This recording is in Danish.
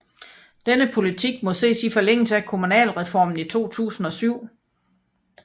Denne politik må ses i forlængelse af kommunalreformen 2007